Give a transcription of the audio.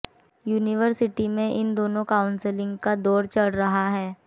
university में इन दिनों काउंसलिंग का दौर चल रहा है